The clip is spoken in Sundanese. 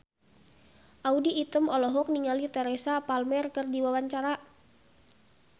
Audy Item olohok ningali Teresa Palmer keur diwawancara